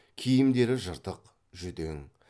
киімдері жыртық жүдең